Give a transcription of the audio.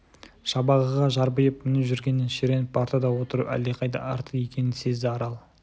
жабағыға жарбиып мініп жүргеннен шіреніп партада отыру әлдеқайда артық екенін сезді арал